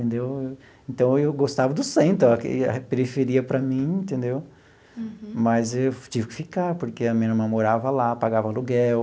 Entendeu então, eu gostava do centro, a periferia para mim, entendeu, mas eu tive que ficar, porque a minha irmã morava lá, pagava aluguel,